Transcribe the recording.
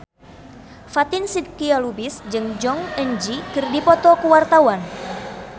Fatin Shidqia Lubis jeung Jong Eun Ji keur dipoto ku wartawan